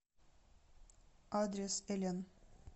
адрес элен